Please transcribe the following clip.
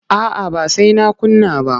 A'a ba sai na kunna ba.